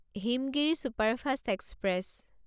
Himgiri superfast express